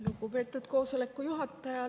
Lugupeetud koosoleku juhataja!